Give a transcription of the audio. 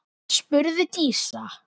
spurði Dísa.